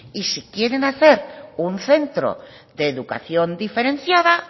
y si quieren hacer un centro de educación diferenciada